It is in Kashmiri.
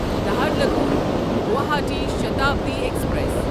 نہرلگون گواہاٹی شتابڈی ایکسپریس